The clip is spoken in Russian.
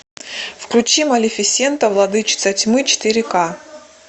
включи малефисента владычица тьмы четыре ка